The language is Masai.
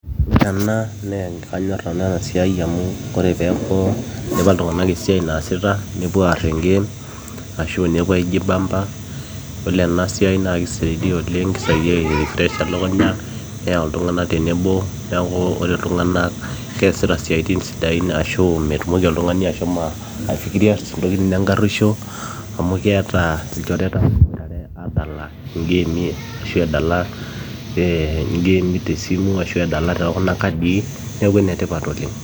Ore ena naa ekanyo nanu ena siai amu kore peeku idipa iltung'anak esiai naasita nepuo aara engeem ashua nepuo aijibamba yiolo ena siai naa keisaidia oleng keisaidia airefresh elukunya neyau iltung'anak tenebo neeku ore iltung'anak keesita siaitin sidain ashuu metumoki oltung'ani ashumo aifikiria ntokitin enkaruesho amo keeta ilchoreta ooboitare aadala ingeemi ashua edala engeemi tesimu ashua edala tekuna kadii neeku enetipat oleng.